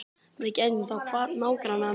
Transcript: Við gætum þá kvatt nágrannana um leið.